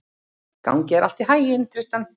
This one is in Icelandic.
Gangi þér allt í haginn, Tristan.